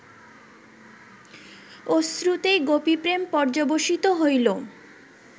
অশ্রুতেই গোপীপ্রেম পর্য্যবসিত হইল